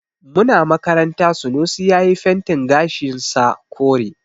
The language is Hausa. Muna makaranta Sunusi yayi fentin gashin sa kure.